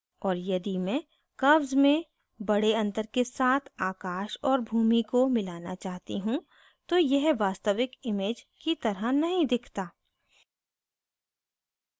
और यदि मैं curves में बड़े अंतर के साथ आकाश और भूमि को मिलाना चाहती हूँ तो यह वास्तविक image की तरह नहीं दिखता